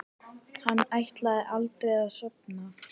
Hann ætlaði aldrei að sofna.